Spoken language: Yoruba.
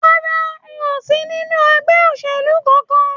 Rárá, n ó sì nínú ẹgbẹ́ òṣèlú kánkán.